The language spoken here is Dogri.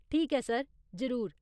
ठीक ऐ सर, जरूर।